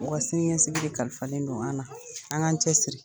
U ka sini ɲɛsigii de kalifalen don , a an na, an k'an cɛ siri.